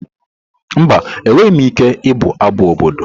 Mba, enweghị m ike ịbụ abụ obodo.